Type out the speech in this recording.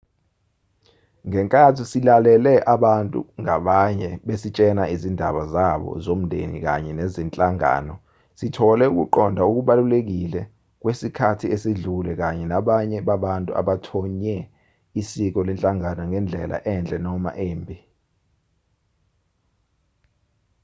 ngenkathi silalele abantu ngabanye besitshela izindaba zabo zomndeni kanye nezenhlangano sithole ukuqonda okubalulekile kwesikhathi esidlule kanye nabanye babantu abathonye isiko lenhlangano ngendlela enhle noma embi